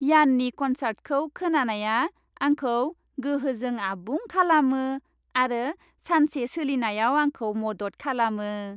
Yanni कन्सार्टखौ खोनानाया आंखौ गोहोजों आबुं खालामो आरो सानसे सोलिनायाव आंखौ मदद खालामो।